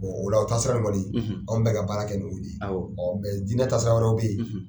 ola o taasira in kɔni anw bɛ ka baara kɛ ni o de ye dinɛ taasira wɛrɛw bɛ ye.